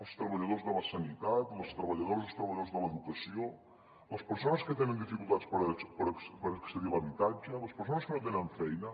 els treballadors de la sanitat les treballadores i els treballadors de l’educació les persones que tenen dificultats per accedir a l’habitatge les persones que no tenen feina